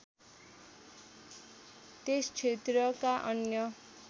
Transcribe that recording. त्यस क्षेत्रका अन्य